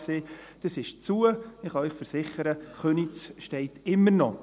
Dieses ist zu, und ich kann Ihnen versichern, Köniz steht immer noch.